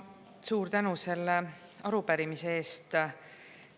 Suur tänu selle arupärimise eest!